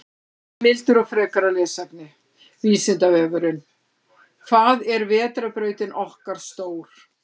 Heimildir og frekara lesefni: Vísindavefurinn: Hvað er vetrarbrautin okkar stór?